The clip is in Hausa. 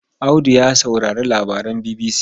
Audu ya saurari labaran BBC.